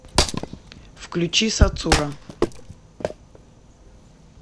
включи сацура